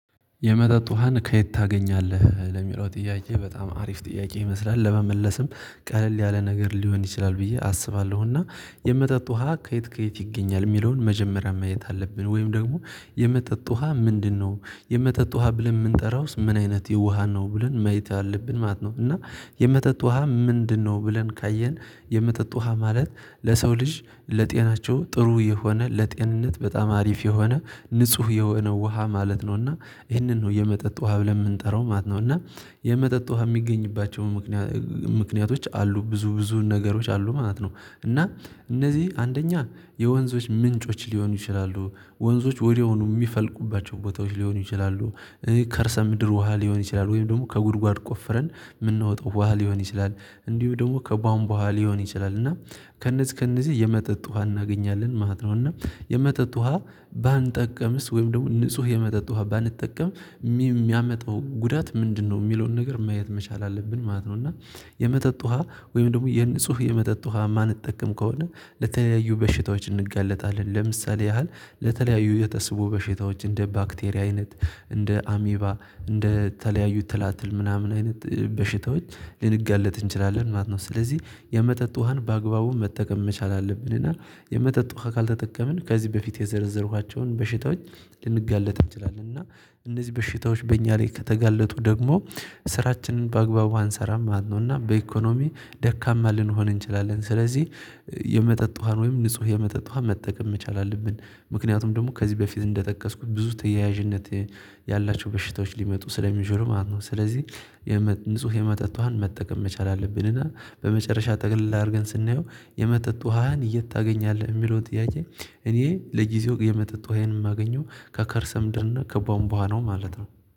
የመጠጥ ውሃን ከየት ታገኛለህ? ለሚለው ጥያቄ በጣም አሪፍ ጥያቄ ይመስላል። ለመመለስም ቀለል ያለ ነገር ሊሆን ይችላል ብዬ አስባለሁ እና የመጠጥ ውሃ ከየት ከየት ይገኛል? የሚለውን መጀመሪያ ማየት አለብን ወይም ደግሞ የመጠጥ ውሃ ምንድነው የመጠጥ ውሃ ብለን የምንጠራውስ ምን አይነት ውሃ ነው ብለን ማይት አለብን ማለት ነው እና የመጠጥ ውሃ ምንድነው ብለን ካየን? የመጠጥ ውሃ ማለት ለሰው ልጅ ለጤናቸው ጥሩ የሆነ ለጤንነት በጣም አሪፍ የሆነ ንጹህ የወነ ውሃ ማለት ነውና ይህንን ነው የመጠጥ ውሃ ብለን የምንጠራው ማለት ነው እና የመጠጥ ውሃ የሚገኝባቸው ምክንያቶች አሉ ብዙ ብዙ ነገሮች አሉ ማለት ነው። እና እነዚህ አንደኛ የወንዞች ምንጮች ሊሆኑ ይችላሉ፤ ወንዞች ወዲያውኑ የሚፈልቁባቸው ቦታዎች ሊሆኑ ይችላሉ፤ ከእርሰ ምድር ውሃ ሊሆን ይችላሉ ወይም ደግሞ ከጉድጓድ ቆፍረን የምንወጣው በኋላ ሊሆን ይችላል፤ እንዲሁ ደግሞ ከቧንቧ ውሃ ሊሆን ይችላል እና ከእነዚህ ከእነዚህ የመጠጥ ውሃ እናገኛለን ማለት ነው። እና የመጠጥ ውሃ ባንጠቀምስ ወይም ደግሞ ንጹህ የመጠጥ ውሃ ባንጠቀም የሚያመጣው ጉዳት ምንድነው? የሚለውን ነገር ማየት መቻል አለብን ማለት ነው እና የመጠጥ ውሃ ወይም ደግሞ የንጹህ የመጠጥ ውሃ የማንጠቀም ከሆነ ለተለያዩ በሽታዎች እንጋለጣለን ለምሳሌ ያህል ለተለያዩ የተስቦ በሽታዎች እንደ ባክቴሪያ አይነት፤ እንደ አሚባ እንደ ተለያዩ ትላትል ምናምን አይነት በሽታዎች ልንጋለጥ እንችላለን ማለት ነው። ስለዚህ የመጠጥ ውሃን በአግባቡ መጠቀም መቻል አለብን እና የመጠጥ ውሃ ካልተጠቀምን ከዚህ በፊት የዘረዘርኳቸውን በሽታዎች ልንጋለጥ እንችላለን እና እነዚህ በሽታዎች በእኛ ላይ ከተጋለጡ ደግሞ ስራችንን በአግባቡ አንሰራም ማለት ነው እና በኢኮኖሚ ደካማ ልንሆን እንችላለን ስለዚህ የመጠጥ ውሃን ወይም ንጹህ የመጠጥ ውሃ መጠቀም መቻል አለብን ምክንያቱም ደግሞ ከዚህ በፊት እንደጠቀስኩት ብዙ ተያያዥነት ያላቸው በሽታዎች ሊመጡ ስለሚያዝኑ ማለት ነው ስለዚህ ንጹህ የመጠጥ ውሃን መጠቀም መቻል አለብንና በመጨረሻ ጠቅለል አድርገን ስናየው የመጠጥ ውሃን የት ታገኛለህ? እሚለውን ጥያቄ እኔ ለጊዜው የመጠጥ ውሃዬን የማገኘው ከከርሰምደር እና ከባምቧ ነው ማለት ነው።